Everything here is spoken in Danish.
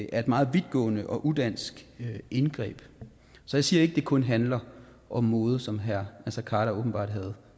er et meget vidtgående og udansk indgreb så jeg siger ikke at det kun handler om mode som herre naser khader åbenbart har